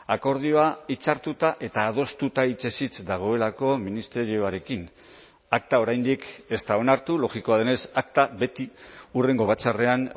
akordioa hitzartuta eta adostuta hitzez hitz dagoelako ministerioarekin akta oraindik ez da onartu logikoa denez akta beti hurrengo batzarrean